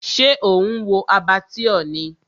Ṣé ò ń wo Abattoir ni?